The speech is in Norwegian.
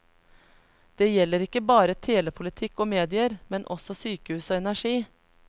Det gjelder ikke bare telepolitikk og medier, men også sykehus og energi.